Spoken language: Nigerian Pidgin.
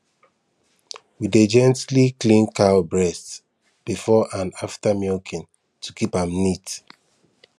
we dey gently clean cow breast before and after milking to keep am neat